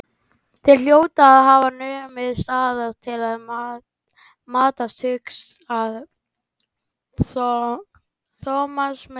Þeir hljóta að hafa numið staðar til að matast, hugsaði Thomas með sér.